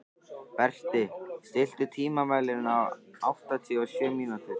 Berti, stilltu tímamælinn á áttatíu og sjö mínútur.